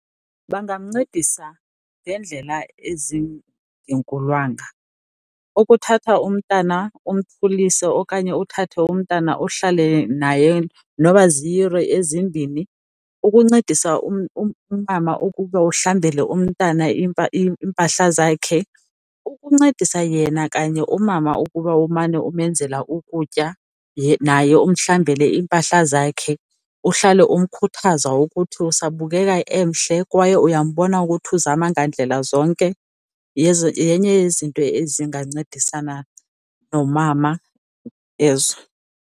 Bangamncedisa ngeendlela ezingenkulwanga, ukuthatha umntana umkhulisile okanye uthathe umntana uhlale naye nokuba ziiyure ezimbini. Ukuncedisa umama ukuba uhlambele umntana iimpahla zakhe, ukuncedisa yena kanye umama ukuba umane umenzela ukutya naye umhlambele iimpahla zakhe. Uhlale umkhuthaza ukuthi usabukeka emhle kwaye uyambona ukuthi uzama ngandlela zonke, yenye yezinto ezingancedisana nomama ezo.